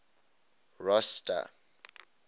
rosta